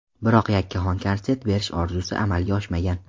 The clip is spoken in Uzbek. Biroq yakkaxon konsert berish orzusi amalga oshmagan.